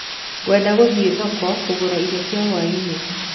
Ngwenda gũthiĩ thoko kũgũra irio cia hwaĩinĩ.